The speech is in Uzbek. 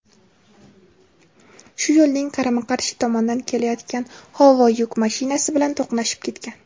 shu yo‘lning qarama-qarshi tomonidan kelayotgan Howo yuk mashinasi bilan to‘qnashib ketgan.